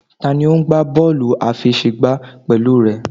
Tani o n gba bọọlu afẹsẹgba pẹlu rẹ?